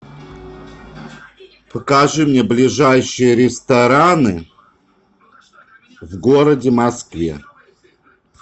покажи мне ближайшие рестораны в городе москве